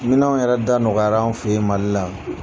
Minanw yɛrɛ da nɔgɔala anw fɛ in Mali la.